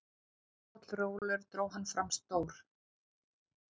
Pollrólegur dró hann fram stór